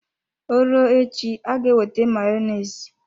Ọ rụọ echi aga ewete Mayonezi.